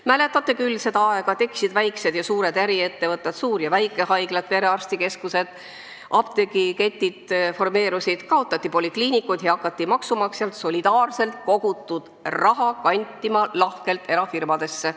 Mäletate küll seda aega: tekkisid väikesed ja suured äriettevõtted, suur- ja väikehaiglad, perearstikeskused, formeerusid apteegiketid, kaotati polikliinikud ja hakati maksumaksjalt solidaarselt kogutud raha kantima lahkelt erafirmadesse.